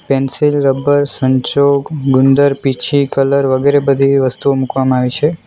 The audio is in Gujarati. પેન્સિલ રબર સંચો ગુંદર પીંછી કલર વગેરે બધી એવી વસ્તુઓ મૂકવામાં આવી છે.